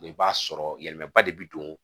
i b'a sɔrɔ yɛlɛmaba de bi don